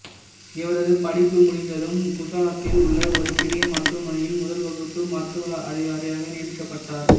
இவரது படிப்பு முடிந்ததும் குசராத்தில் உள்ள ஒரு பெரிய மருத்துவமனையில் முதல் வகுப்பு மருத்துவ அதிகாரியாக நியமிக்கப்பட்டார்